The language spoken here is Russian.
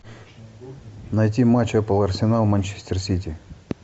найти матч апл арсенал манчестер сити